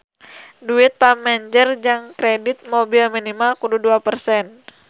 Duit pamanjer jang kredit mobil minimal kudu dua persen